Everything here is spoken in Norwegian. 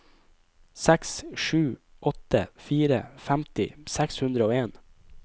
seks sju åtte fire femti seks hundre og en